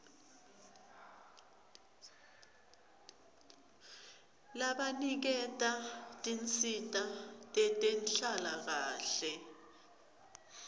labaniketa tinsita tetenhlalakahle